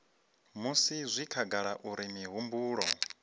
musi zwi khagala uri mihumbulo